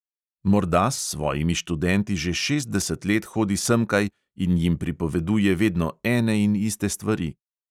Morda s svojimi študenti že šestdeset let hodi semkaj in jim pripoveduje vedno ene in iste stvari.